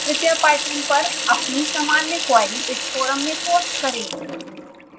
कृपया पाइथन पर अपनी सामान्य क्वेरी इस फोरम में पोस्ट करें